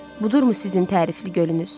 Budur mu sizin tərifli gölünüz?